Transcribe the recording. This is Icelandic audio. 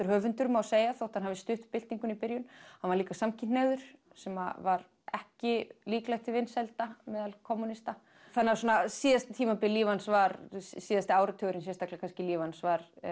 höfundur má segja þótt hann hafi stutt byltinguna í byrjun hann var líka samkynhneigður sem var ekki líklegt til vinsælda meðal kommúnista þannig að síðasta tímabilið í lífi hans var síðasti áratugurinn sérstaklega kannski í lífi hans var